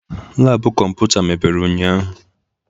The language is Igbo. Laabu kọmputa mepere ụnyahụ.